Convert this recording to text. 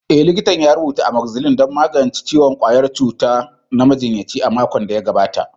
Eh, likita ya rubuta Amoxicillin don magance ciwon ƙwayar cuta na majinyaci a makon da ya gabata.